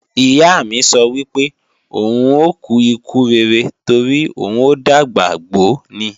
Ìyá mi sọ wípé, òun ò kú ikú rere torí òun ò dàgbà gbó ni.